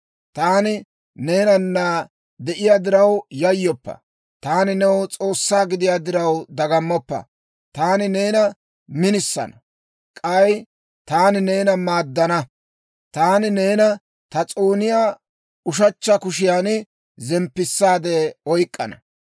Taani neenana de'iyaa diraw yayyoppa; taani ne S'oossaa gidiyaa diraw dagammoppa. Taani neena minisana; k'ay taani neena maaddana. Taani neena ta s'ooniyaa ushechcha kushiyan zemppisaade oyk'k'ana.